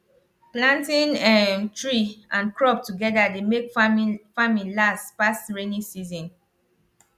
planting um tree and crop together dey make farming last pass rainy season